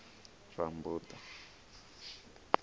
rammbuḓa